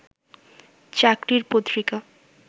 চাকরির পত্রিকা